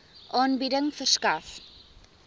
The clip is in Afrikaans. aanbieding verskaf